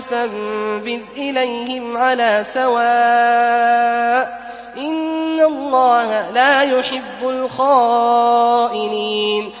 فَانبِذْ إِلَيْهِمْ عَلَىٰ سَوَاءٍ ۚ إِنَّ اللَّهَ لَا يُحِبُّ الْخَائِنِينَ